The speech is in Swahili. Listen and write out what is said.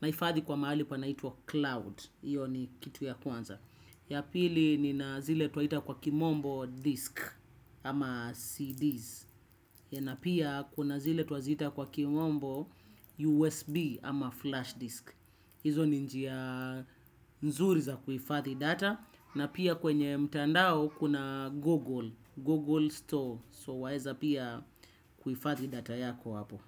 naifadhi kwa mahali kwa naituwa cloud. Iyo ni kitu ya kwanza. Ya pili nina zile twaita kwa kimombo disk ama cds. Napia kuna zile twazita kwa kimombo usb ama flash disk. Hizo ni njia nzuri za kuhifadhi data na pia kwenye mtandao kuna google store so waeza pia kuhifadhi data yako hapo.